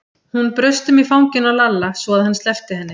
Hún braust um í fanginu á Lalla, svo að hann sleppti henni.